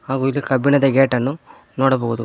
ಹಾಗೂ ಇಲ್ಲಿ ಕಬ್ಬಿಣದ ಗೇಟನ್ನು ನೋಡಬೋದು.